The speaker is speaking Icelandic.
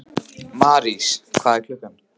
Marís, hvað er klukkan?